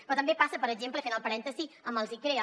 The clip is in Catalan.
però també passa per exemple i fent el parèntesi amb els icrea